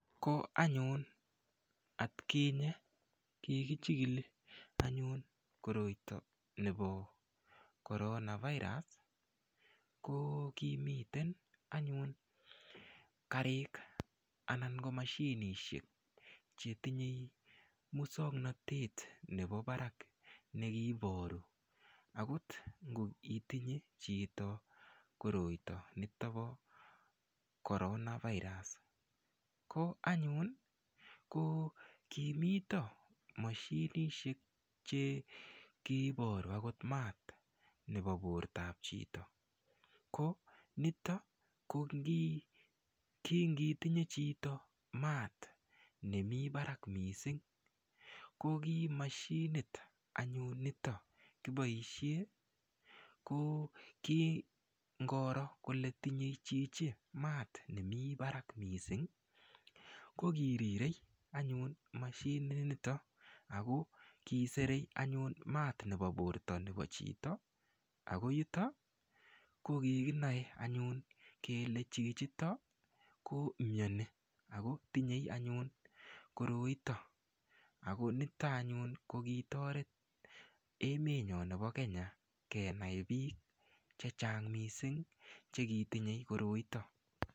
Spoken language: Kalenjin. Ko anyun atkinye kikichikili anyun koroito nebo korona virus ko kimiten anyun karik anan ko mashinishek chetinyei muswongnotet nebo barak nekiiboru akot ngitonye chito koroito nito po korona virus ko anyun ko kimito mashinishek che kiiboru akot maat nebo bortap chito ko nitok ko kingitinye chito maat nemi barak mising ko kimashinit anyun nito kiboishe ko kingoro kole tinyei chichi maat nemi barak mising ko kirirei anyun mashinit nito ako kiserei anyun maat nebo borto nebo chito ako yuto ko kikinoe anyun kele chichito komioni akotinyei anyun koroito akonito anyun ko kitoret emet nyo nebo Kenya kenai biik che chang mising chekitinye koroito.